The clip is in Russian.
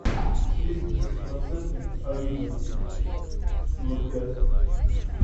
сливки десяти процентные авидо ноль пять